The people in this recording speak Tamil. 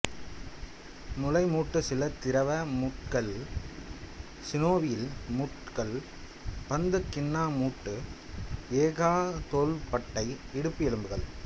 முளை மூட்டு சில திரவ மூட்டுகள் சினோவியல் மூட்டுகள் பந்துக் கிண்ண மூட்டு எ கா தோள்பட்டை இடுப்பு எலும்புகள்